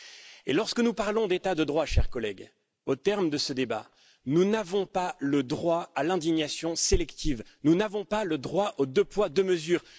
Et lorsque nous parlons d'état de droit, chers collègues, au terme de ce débat, nous n'avons pas le droit à l'indignation sélective, nous n'avons pas le droit aux deux poids, deux mesures.